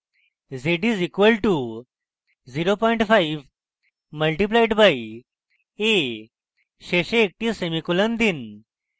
z is equal to 05 multiplied by a শেষে একটি semicolon দিন